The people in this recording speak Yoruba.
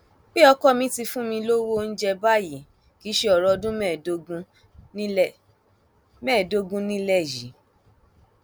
pé ọkọ mi ti fún mi lọwọ oúnjẹ báyìí kì í ṣe ọrọ ọdún mẹẹẹdógún nílẹ mẹẹẹdógún nílẹ yìí